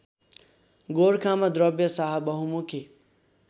गोरखामा द्रव्यशाह बहुमुखी